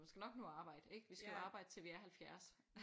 Måske nok nå at arbejde ikke vi skal jo arbejde til vi er 70